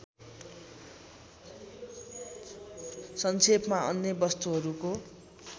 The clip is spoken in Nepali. संक्षेपमा अन्य वस्तुहरूको